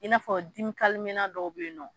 I n'a fɔ dimi dɔw bɛ yen nɔ